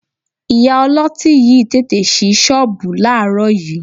Ìyá ọlọ́tí yìí tí tètè ṣí ṣọ́ọ̀bù láàárọ̀ yìí